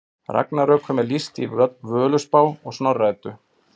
Ragnarökum er lýst í Völuspá og Snorra Eddu.